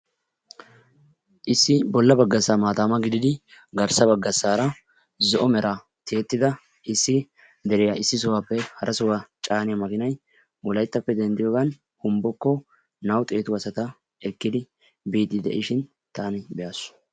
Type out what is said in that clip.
Issi bolla baggassaa maataamma gididi garssa baggassaara zo'o meraa tiyettida issi deriya issi sohaappe hara sohaa caaniya makiinay Wolayttappe denddiyogan Humbbokko 200 asata ekkidi biishin taani be'aas.